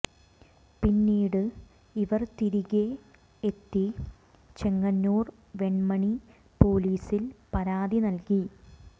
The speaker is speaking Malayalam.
പിന്നീട് ഇവർ തിരികെ എത്തി ചെങ്ങന്നൂർ വെൺമണി പൊലീസിൽ പരാതി നൽകി